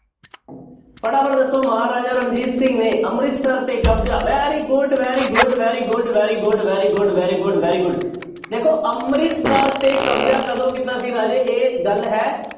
ਫਟਾਫਟ ਦੱਸੋ ਮਹਾਰਾਜਾ ਰਣਜੀਤ ਸਿੰਘ ਨੇ ਅੰਮ੍ਰਿਤਸਰ ਤੇ ਕਬਜ਼ਾ very good, very good, very good, very good, very good, very good, very good ਦੇਖੋ ਅੰਮ੍ਰਤਿਸਰ ਤੇ ਕਬਜ਼ਾ ਕਦੋਂ ਕੀਤਾ ਸੀ ਰਾਜੇ ਇਹ ਗੱਲ ਹੈ,